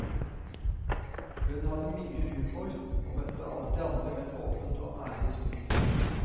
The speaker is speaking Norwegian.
Hun hadde mye humor, og møtte alltid andre med et åpent og ærlig smil.